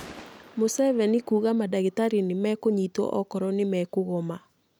Museveni kuuga mandagĩtarĩ nĩ mekũnyitwo okorwo nĩ mekũgoma